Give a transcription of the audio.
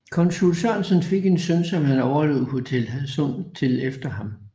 Konsul Sørensen fik en søn som han overlod Hotel Hadsund til efter han